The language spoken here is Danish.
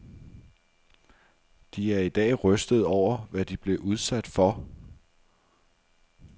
De er i dag rystede over, hvad de blev udsat for.